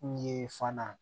N ye fana